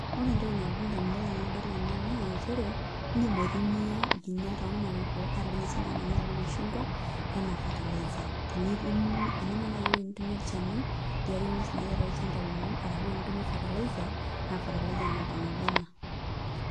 Ore entoki nalotu ndamunot tenadol ena naa nchere iindim aitumia nkinyat ormariko ata siinye nkinyat ormashungwa enaa fertilizer enemiata naai ewueji nitumie olchani liarie nguesin naati atua olchamba lino arshu miata enitumie fertilizer naa fertilizer namba nabo ena.